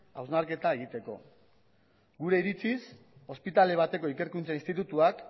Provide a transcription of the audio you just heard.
hausnarketa egiteko gure iritziz ospitale bateko ikerkuntza institutuak